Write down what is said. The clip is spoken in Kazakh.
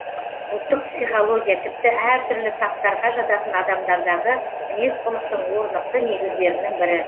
ұлттық психология тіпті әр түрлі таптарға жататын адамдардағы мінез құлықтың орнықты негіздерінің бірі